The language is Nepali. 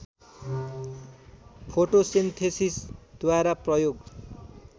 फोटोसेन्थेसिसद्वारा प्रयोग